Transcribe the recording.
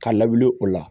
Ka lawuli o la